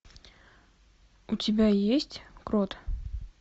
у тебя есть крот